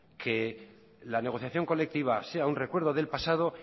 que la negociación colectiva sea un recuerdo del pasado